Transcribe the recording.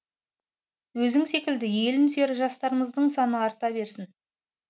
өзің секілді елін сүйер жастарымыздығ саны арта берсін